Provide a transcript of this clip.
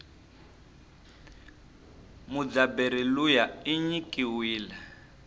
mudzabheri luya inyikiwile